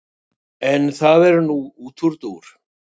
En það er nú útúrdúr.